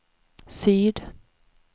syd